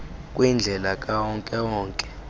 kwindlela kawonke wonke